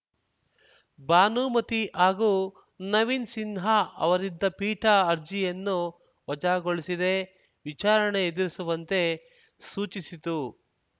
ಭಾನುಮತಿ ಹಾಗೂ ನವೀನ್‌ ಸಿನ್ಹಾ ಅವರಿದ್ದ ಪೀಠ ಅರ್ಜಿಯನ್ನು ವಜಾಗೊಳಿಸಿದೆ ವಿಚಾರಣೆ ಎದುರಿಸುವಂತೆ ಸೂಚಿಸಿತು